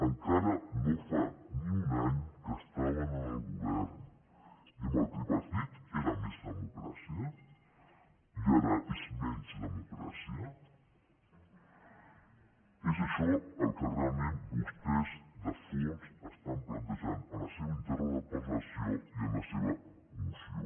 encara no fa ni un any que estaven en el govern i amb el tripartit era més democràcia i ara és menys democràcia és això el que realment vostès de fons estan plantejant en la seva interpel·lació i en la seva moció